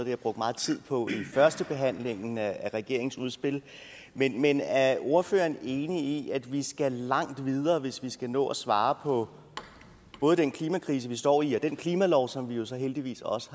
jeg brugte meget tid på i førstebehandlingen af regeringsudspillet men men er ordføreren enig i at vi skal langt videre hvis vi skal nå at svare på både den klimakrise vi står i og den klimalov som vi jo så heldigvis også